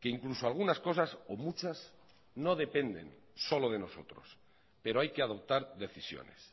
que incluso algunas cosas o muchas no dependen solo de nosotros pero hay que adoptar decisiones